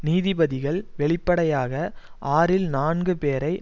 நீதிபதிகள் வெளிப்படையாக ஆறில் நான்கு பேரை